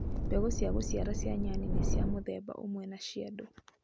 Mbegũ cia kũciara cia nyani nĩ cia mũthemba ũmwe na cia andũ.